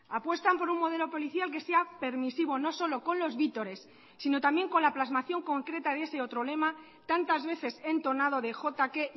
apuestan por un modelo policial que sea permisivo no solo con los vítores sino también con la plasmación concreta de ese otro lema tantas veces entonado de jotake